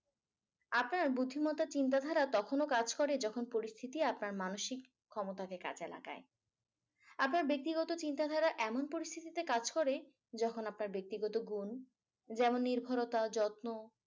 আপনার বুদ্ধি মাত্তা চিন্তাধারা তখনও কাজ করে যখন পরিস্থিতি আপনার মানসিক ক্ষমতাকে কাজে লাগায়। আপনার ব্যক্তিগত চিন্তাধারা এমন পরিস্থিতিতে কাজ করে যখন আপনার ব্যক্তিগত গুণ। যেমন নির্ভরতা যত্ন